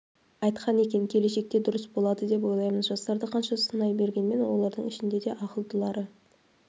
айтқан екен келешекте дұрыс болады деп ойлаймын жастарды қанша сынай бергенмен олардың ішінде де ақылдылары